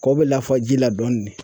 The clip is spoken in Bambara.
Kɔw bɛ lafaji la dɔɔnin